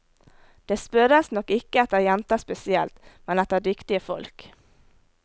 Det spørres nok ikke etter jenter spesielt, men etter dyktige folk.